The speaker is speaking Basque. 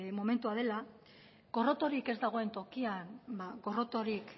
momentua dela gorrotorik ez dagoen tokian gorrotorik